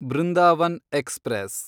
Brindavan express